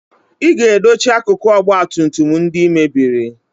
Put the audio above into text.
ị ga-edochi akụkụ ọgba tum tum ndị I mebiri!